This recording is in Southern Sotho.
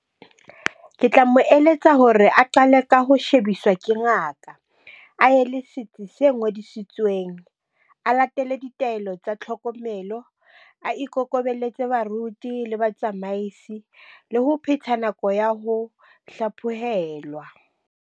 Ke tla mo eletsa hore a qale ka ho shebiswa ke ngaka, a ye le setsi se ngodisitsweng. A latele ditaelo tsa tlhokomelo, a ikokobelletse baruti le batsamaisi, le ho phetha nako ya ho hlaphohelwa.